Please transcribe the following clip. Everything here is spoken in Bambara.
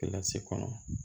kɔnɔ